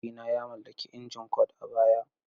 Mahaifina ya mallaki injin Kord a baya.